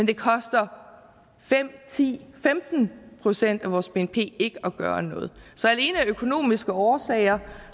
det koster fem ti femten procent af vores bnp ikke at gøre noget så alene af økonomiske årsager